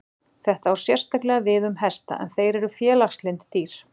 Þetta á sérstaklega við um hesta en þeir eru félagslynd dýr.